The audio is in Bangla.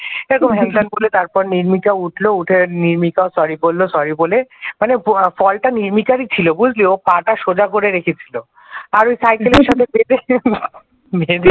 এরকম হ্যান তেন বলে তারপরে নির্মিকা উঠলো উঠে নির্মিকা sorry বলল sorry বলে মানে ফলটা নির্মিকারি ছিল বুঝলি ও পা টা সোজা করে রেখেছিল আর ওই সাইকেলের সঙ্গে